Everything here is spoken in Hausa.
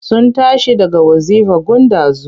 Sun tashi daga wazifa gun ɗazu.